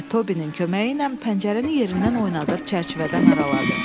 və Tobinin köməyi ilə pəncərəni yerindən oynadıb çərçivədən araladı.